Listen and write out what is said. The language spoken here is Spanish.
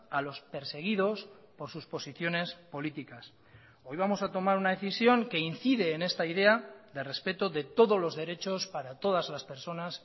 a los perseguidos por sus posiciones políticas hoy vamos a tomar una decisión que incide en esta idea de respeto de todos los derechos para todas las personas